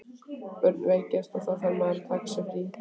Börnin veikjast og þá þarf að taka sér frí.